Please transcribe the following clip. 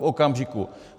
V okamžiku.